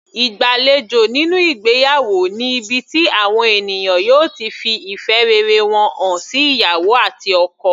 Ìgbàlejò nínú ìgbéyàwó ni ibi tí àwọn ènìyàn yóò ti fi ìfẹ́ rere wọn hàn sí ìyàwó àti ọkọ.